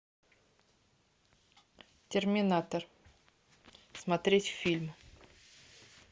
терминатор смотреть фильм